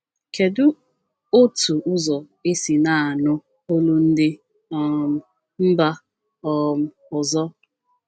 Kedu otu ụzọ e si na-anụ olu ndị um mba um ọzọ?